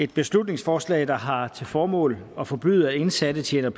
et beslutningsforslag der har til formål at forbyde at indsatte tjener